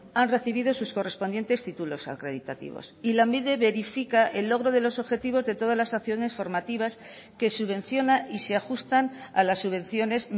han recibido sus correspondientes títulos acreditativos y lanbide verifica el logro de los objetivos de todas las acciones formativas que subvenciona y se ajustan a las subvenciones